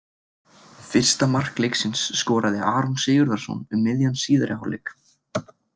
Fyrsta mark leiksins skoraði Aron Sigurðarson um miðjan síðari hálfleik.